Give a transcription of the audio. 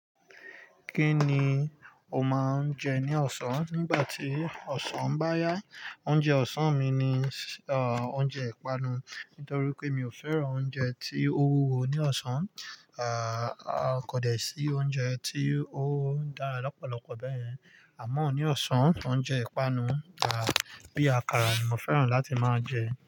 Kí ni o máa ń jẹ ní ọ̀sán? Nígbà tí ọ̀sán bá yá, oúnjẹ ọ̀sán mi ni, oúnjẹ ìpanu. Nítorí pé mi ò fẹ́ràn oúnjẹ tí ó wúwo ní ọ̀sán. Kò dẹ̀ sí oúnjẹ tí ó ń dára lọ́pọ̀lọpọ̀ bẹ́ẹ̀yen. Àmọ́ ní ọ̀sán, oúnjẹ ìpanu, bí i àkàrà ni mo fẹ́ràn láti máa jẹ.